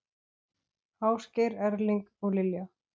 Ásgeir Erling og Lilja.